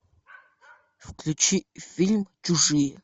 включи фильм чужие